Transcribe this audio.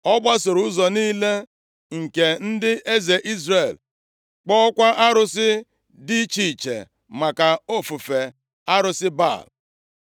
Ọ gbasoro ụzọ niile nke ndị eze Izrel, kpụọkwa arụsị dị iche iche maka ofufe arụsị Baal.